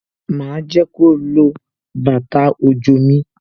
Ma jẹ́ kó lo bàtà òjò mi